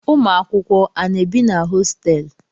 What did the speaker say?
Ụmụakwụkwọ a na-ebi na hositelu?